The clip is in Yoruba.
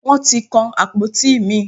Wọ́n ti kan àpótí mi.